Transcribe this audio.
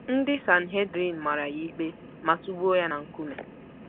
Ndị Sanhedrin mara ya ikpe ma tụgbuo ya na nkume.